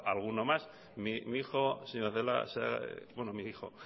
alguno más mi hijo señora celaá bueno mi hijo